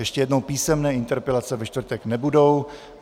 Ještě jednou písemné interpelace ve čtvrtek nebudou.